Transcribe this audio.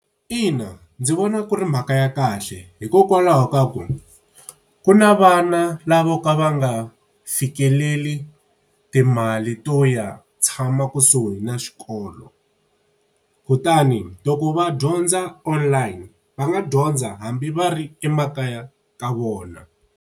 Ina, ndzi vona ku ri mhaka ya kahle hikokwalaho ka ku, ku na vana lavo ka va nga fikeleli timali to ya ha tshama kusuhi na xikolo. Kutani loko va dyondza online va nga dyondza hambi va ri emakaya ka vona.